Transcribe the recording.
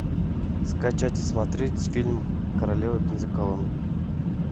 скачать и смотреть фильм королева бензоколонок